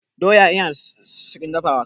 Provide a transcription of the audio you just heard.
Doya yana da sauƙin dafawa.